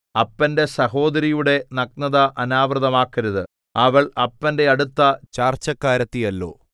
അപ്പന്റെ സഹോദരിയുടെ നഗ്നത അനാവൃതമാക്കരുത് അവൾ അപ്പന്റെ അടുത്ത ചാർച്ചക്കാരത്തിയല്ലോ